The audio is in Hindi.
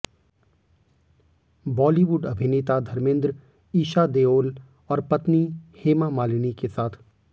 बॉलीवुड अभिनेता धर्मेंद्र ईशा देओल और पत्नी हेमा मालिनी के साथ